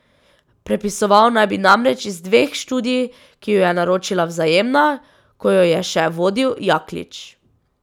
Prepisoval naj bi namreč iz dveh študij, ki ju je naročila Vzajemna, ko jo je še vodil Jaklič.